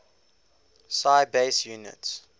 si base units